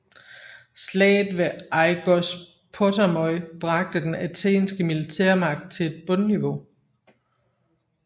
Slaget ved Aigospotamoi bragte den athenske militærmagt til et bundniveau